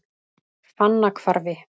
Fannahvarfi